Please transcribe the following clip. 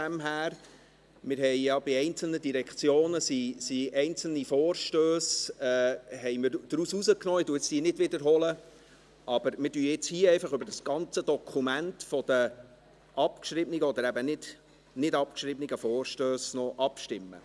Bei einzelnen Direktionen wurden einzelne Vorstösse herausgenommen – ich wiederhole diese jetzt nicht –, und wir stimmen jetzt einfach noch über das ganze Dokument der abgeschriebenen oder eben nicht abgeschriebenen Vorstösse ab.